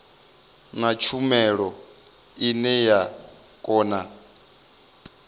na tshumelo ine ya kona